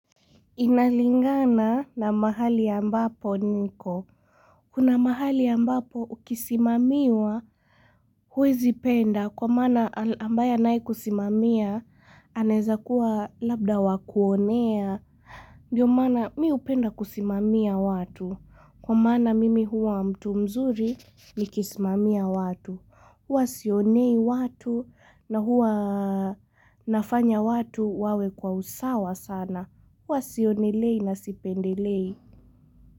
Inalingana na mahali ambapo niko. Kuna mahali ambapo ukisimamiwa huwezi penda kwa maana ambaya anae kusimamia anaeza kua labda wakuonea. Ndio maana mimi hupenda kusimamia watu, kwa maana mimi huwa mtu mzuri nikisimamia watu, huwa sionei watu na huwa nafanya watu wawe kwa usawa sana, huwa sionei na sipendelei.